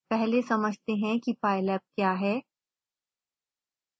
पहले समझते हैं कि pylab क्या है